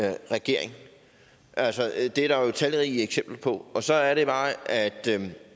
er i regering altså det er der jo talrige eksempler på og så er det bare at